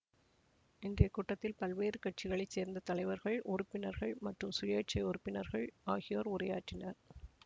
இன்றைய கூட்டத்தில் பல்வேறு கட்சிகளை சேர்ந்த தலைவர்கள்உறுப்பினர்கள் மற்றும் சுயேட்சை உறுப்பினர்கள் ஆகியோர் உரையாற்றினர்